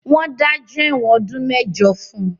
Wọ́n dájọ́ ẹ̀wọ̀n ọdún mẹ́jọ fún